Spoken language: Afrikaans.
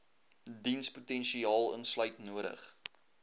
dienspotensiaal insluit nodig